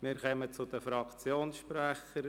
Wir kommen zu den Fraktionssprechern.